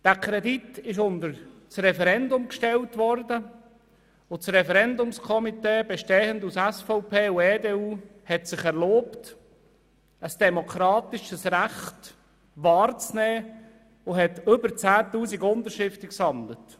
Dieser Kredit wurde dem Referendum unterstellt und das Referendumskomitee, bestehend aus SVP und EDU, hat sich erlaubt, ein demokratisches Recht wahrzunehmen und über 10 000 Unterschriften gesammelt.